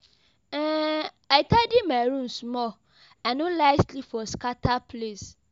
um I tidy my room small, I no like sleep for scatter place.